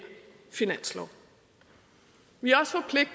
finanslov vi